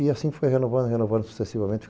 E assim foi renovando, renovando sucessivamente.